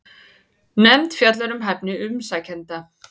Nefnd fjallar um hæfni umsækjenda